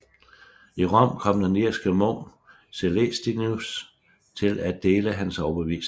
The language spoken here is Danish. I Rom kom den irske munk Celestinus til at dele hans overbevisninger